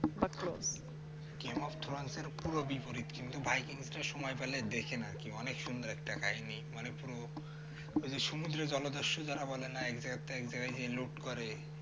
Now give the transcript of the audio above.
game of throne র পুরো বিপরীত কিন্তু by king টা সময় পেলে দেখেন আর কি অনেক সুন্দর একটা কাহিনী মানে পুরো সমুদ্রের জলদস্যু যারা বলে না এক জায়গাতে এক জায়গায় গিয়ে লুট করে